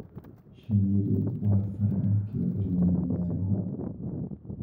Shinnidu waa farcankii cilmiga beeraha.